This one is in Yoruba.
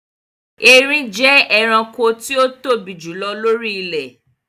Erin jẹ́ ẹranko tí o tóbi jù lọ lóri ilẹ̀